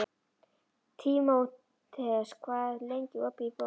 Tímoteus, hvað er lengi opið í Bónus?